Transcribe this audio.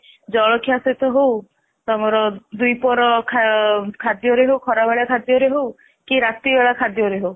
ଜଳଖିଆ ସହିତ ହଉ ତମର ଦି ପ୍ରହର ଖାଦ୍ୟରେ ହଉ ଖରାବେଳ ଖାଦ୍ୟ ରେ ହଉ କି ରାତି ବେଳା ଖାଦ୍ୟ ରେ ହଉ